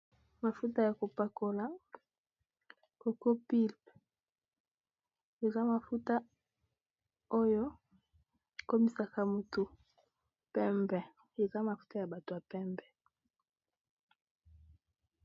Mafuta ya kopakola kokopilpe, eza mafuta oyo ekomisaka motu pembe eza mafuta ya bato ya pembe.